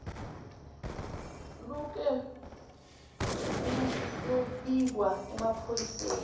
luke luyobikwa emaphoyiseni